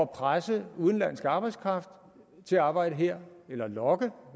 presse udenlandsk arbejdskraft til at arbejde her eller lokke